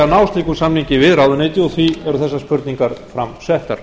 að ná slíkum samningi við ráðuneytið og því eru þessar spurningar fram settar